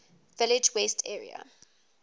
village west area